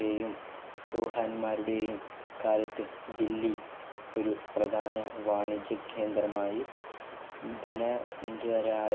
യെയും ചോഹന്മാരുടെയും കാലത്ത് ദില്ലി ഒരു പ്രധാന വാണിജ്യ കേന്ദ്രമായു ധന